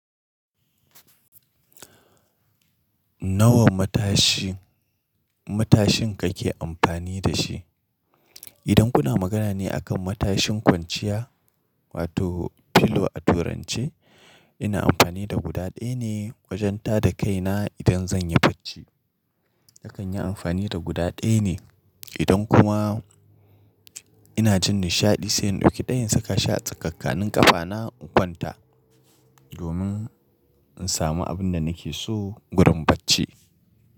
Nawa matashi matashin kake amfani da shi? Idan kuna magana ne a kan matashin kwanciya wato pillow a turance, ina amfani da guda ɗaya ne wajen tada kaina idan zan yi bacci. Nakanyi amfani da guda ɗaya ne. Idan kuma ina jin nishaɗi sai in ɗauki ɗaya in saka shi a tsakankanin ƙafana in kwanta domin in samu abun da nake so gurin bacci.